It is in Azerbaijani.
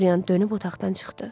Dorian dönüb otaqdan çıxdı.